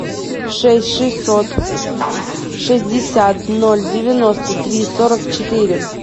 шесть шестьсот шестьдесят ноль девяносто три сорок четыре